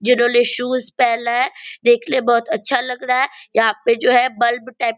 जिन्होंने शूज़ पेहना है देखने में बहुत अच्छा लग रहा है | यहाँ पे जो बल्ब टाइप --